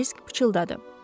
deyə Krisk pıçıldadı.